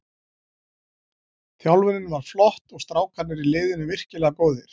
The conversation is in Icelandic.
Þjálfunin var flott og strákarnir í liðinu virkilega góðir.